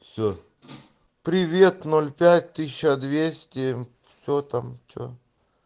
все привет ноль пять тысяча двести все там что